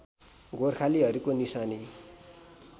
गोर्खालीहरूको निशानी